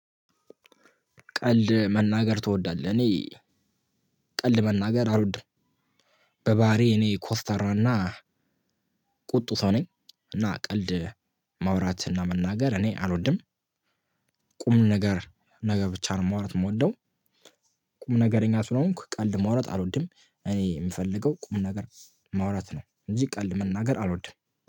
ቀልድ መናገር ትወዳለህ? እኔ ቀልድ መናገር አልወድም በባህሪየ እኔ ኮስታራና ቁጡ ሰው ነኝ እና ቀልድ ማውራት እና መናገር እኔ አልወድም። ቁም ነገር ነገር ብቻ ነው ማውራት የምወደው። ቁም ነገረኛ ስለሆንኩ ቀልድ ማውራት አልወድም እኔ የምፈልገው ቁም ነገር ማውራት ነው እንጂ ቀልድ መናገር አልወድም።